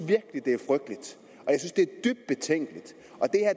det er dybt betænkeligt